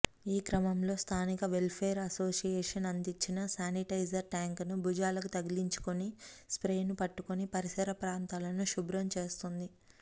ఈక్రమంలో స్థానిక welfare association అందించిన sanitiser ట్యాంకును భుజాలకు తగిలించుకుని స్ర్పేను పట్టుకుని పరిసర ప్రాంతాలను శుభ్రం చేస్తోంది